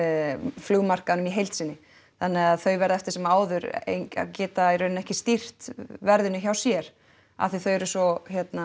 flugmarkaðnum í heild sinni þannig að þau verða eftir sem áður geta ekki stýrt verðinu hjá sér af því þau eru svo